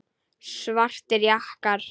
Svartir jakkar.